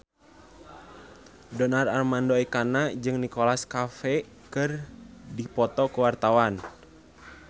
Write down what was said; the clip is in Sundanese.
Donar Armando Ekana jeung Nicholas Cafe keur dipoto ku wartawan